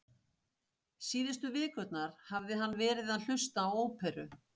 Síðustu vikurnar hafði hann verið að hlusta á óperu